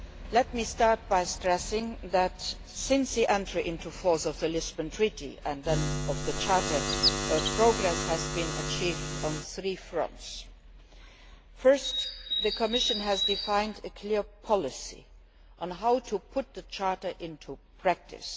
Let me start by stressing that, since the entry into force of the Lisbon Treaty and then of the Charter, progress has been achieved on three fronts Firstly, the Commission has defined a clear policy on how to put the Charter into practice.